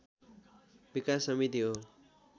विकास समिति हो।